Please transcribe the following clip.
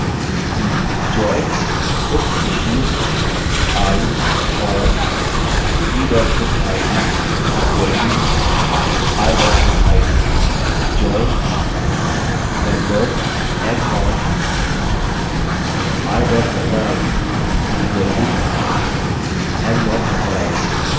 join booksissued i on b bookid = i bookid